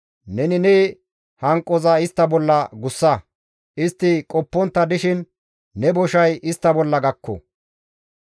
Neni ne hanqoza istta bolla gussa; istti qoppontta dishin ne boshay istta bolla gakko.